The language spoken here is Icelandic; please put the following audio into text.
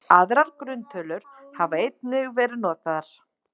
Aðrar grunntölur hafa einnig verið notaðar.